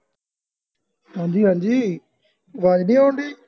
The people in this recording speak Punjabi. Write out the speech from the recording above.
ਹਾਂਜੀ ਹਾਂਜੀ ਅਵਾਜ ਨਹੀਂ ਉਣ ਢਈ